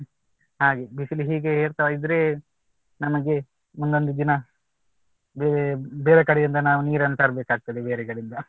ಹಾಗೆ ಬಿಸಿಲು ಹೀಗೆ ಏರ್ತಾ ಇದ್ರೆ ನಮಗೆ ಮುಂದೊಂದು ದಿನ ಬೇರೆ ಬೇರೆ ಕಡೆಯಿಂದ ನಾವು ನೀರನ್ನು ತರಬೇಕಾಗ್ತದೆ ಬೇರೆ ಕಡೆಯಿಂದ